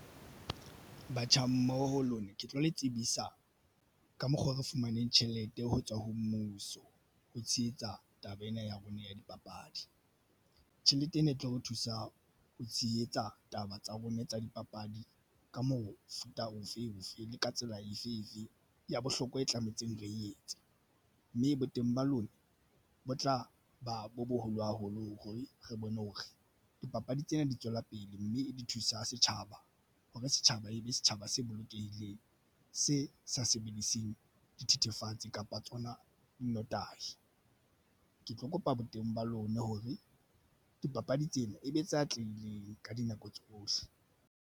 Batjha mmoho ho lona ke tlo le tsebisa ka mokgo re fumaneng tjhelete ho tswa ho mmuso. Ho tshehetsa taba ena ya rona ya dipapadi tjhelete ena e tlo re thusa ho tshehetsa taba tsa rona tsa dipapadi. Ka mofuta ofe bofe le ka tsela efe efe ya bohlokwa e tlametseng re etsa mme boteng ba lona bo tla ba bo boholo haholo hore re bone hore dipapadi tsena di tswela pele na, mme di thusa setjhaba hore setjhaba e be setjhaba se bolokehileng se sa sebediseng dithethefatsi kapa tsona di nnotahi. Ke tlo kopa boteng ba lona hore dipapadi tsena e be tse atlehileng ka dinako tsohle.